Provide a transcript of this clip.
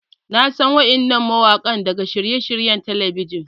Na san waɗannan mawaƙa daga shirye-shiryen talabijin.